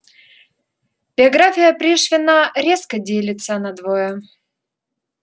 биография пришвина резко делится надвое